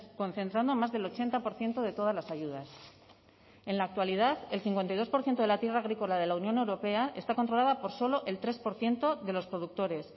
concentrando más del ochenta por ciento de todas las ayudas en la actualidad el cincuenta y dos por ciento de la tierra agrícola de la unión europea está controlada por solo el tres por ciento de los productores